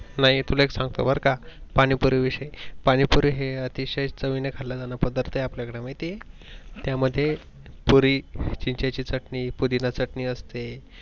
नाही तुला एक सांगतो बर का पाणी पुरी विषयी, पाणी पुरी हे अतिषय चवीने खाल्या जाणारा पदार्थ आहे आपल्या कडे माहित आहे. त्या मध्ये पुरी चिंचेची चटनी, पुदिना चटनी असते.